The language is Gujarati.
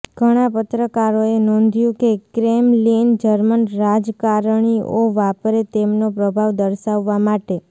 ઘણાં પત્રકારોએ નોંધ્યું હતું કે ક્રેમલિન જર્મન રાજકારણીઓ વાપરે તેમનો પ્રભાવ દર્શાવવા માટે